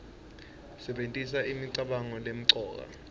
sebentisa imicabango lemcoka